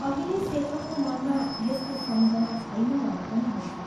अहिले शेखरको मनमा यसको सम्झना छैन भने पनि हुन्छ।